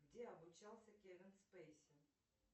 где обучался кевин спейси